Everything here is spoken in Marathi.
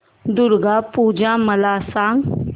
दुर्गा पूजा मला सांग